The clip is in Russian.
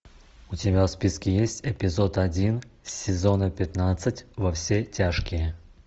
у тебя в списке есть эпизод один сезона пятнадцать во все тяжкие